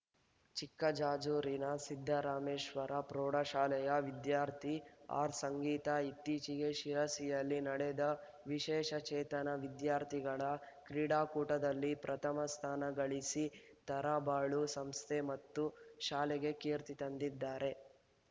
ಚಿಕ್ಕಜಾಜೂರಿನ ಸಿದ್ದರಾಮೇಶ್ವರ ಪ್ರೌಢಶಾಲೆಯ ವಿದ್ಯಾರ್ಥಿ ಆರ್‌ಸಂಗೀತಾ ಇತ್ತೀಚಿಗೆ ಶಿರಸಿಯಲ್ಲಿ ನಡೆದ ವಿಶೇಷಚೇತನ ವಿದ್ಯಾರ್ಥಿಗಳ ಕ್ರೀಡಾಕೂಟದಲ್ಲಿ ಪ್ರಥಮ ಸ್ಥಾನಗಳಿಸಿ ತರಳಬಾಳು ಸಂಸ್ಥೆ ಮತ್ತು ಶಾಲೆಗೆ ಕೀರ್ತಿ ತಂದಿದ್ದಾರೆ